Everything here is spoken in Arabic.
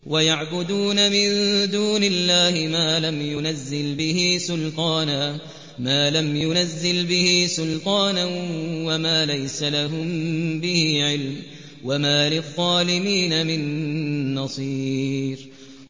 وَيَعْبُدُونَ مِن دُونِ اللَّهِ مَا لَمْ يُنَزِّلْ بِهِ سُلْطَانًا وَمَا لَيْسَ لَهُم بِهِ عِلْمٌ ۗ وَمَا لِلظَّالِمِينَ مِن نَّصِيرٍ